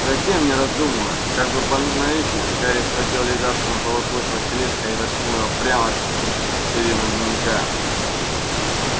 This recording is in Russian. затем не раздумывая как бы по наитию гарри схватил лежавший на полу клык василиска и воткнул его прямо в сердцевину дневника